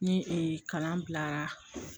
Ne ee kalan bila